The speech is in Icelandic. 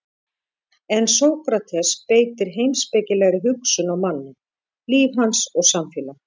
En Sókrates beitir heimspekilegri hugsun á manninn, líf hans og samfélag.